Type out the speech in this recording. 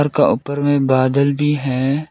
का ऊपर में बादल भी हैं।